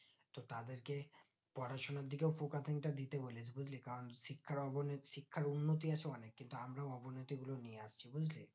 তো তাদেরকে পড়াশোনার দিকে focus নিতে দিতে বলে বুজলি কারণ শিকার অবনতি শিক্ষার উন্নতি আছে অনিক কিন্তু আমরা অবনতি গুলো নিয়েআসি বুজলি